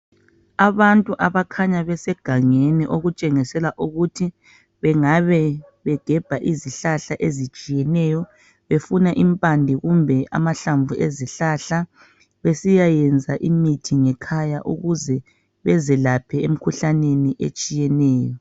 Abantu abakhanya besegangeni okutshengisela ukuthi bengabe begebha izihlahla ezitshiyeneyo befuna impande zamahlamvu ezihlahla besiyayemza imithi ngekhaya ukuze bezelaphe emkhuhlaneni etshiyeneyo.